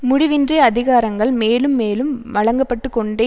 முடிவின்றி அதிகாரங்கள் மேலும் மேலும் வழங்கப்பட்டுக்கொண்டே